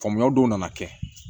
Faamuyaw dɔw nana kɛ